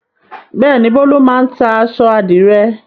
Bẹ́ẹ̀ ni, Bólú máa ń ta aṣọ àdìrẹ́.